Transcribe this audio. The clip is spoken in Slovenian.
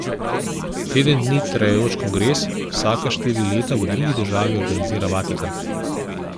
Teden dni trajajoč kongres vsaka štiri leta v drugi državi organizira Vatikan.